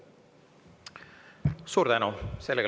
Suur tänu!